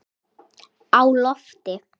Á lofti